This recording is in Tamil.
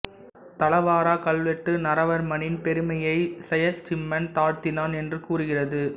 தலவாரா கல்வெட்டு நரவர்மனின் பெருமையை செயசிம்மன் தாழ்த்தினான் என்று கூறுகிறது